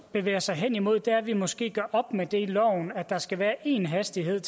bevæget sig hen imod er at vi måske gør op med det i loven at der skal være én hastighed